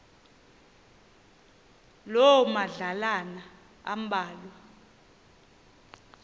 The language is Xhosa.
loo madlalana ambalwa